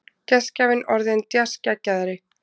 Gestgjafinn orðinn djassgeggjari.